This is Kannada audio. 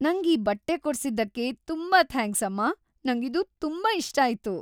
ನಂಗ್ ಈ ಬಟ್ಟೆ ಕೊಡ್ಸಿದ್ದಕ್ಕೆ ತುಂಬಾ ಥ್ಯಾಂಕ್ಸ್‌ ಅಮ್ಮ! ನಂಗಿದು ತುಂಬಾ ಇಷ್ಟ ಆಯ್ತು.